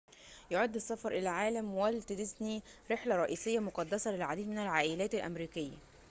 يعد السفر إلى عالم والت ديزني رحلة رئيسية مقدسة للعديد من العائلات الأمريكية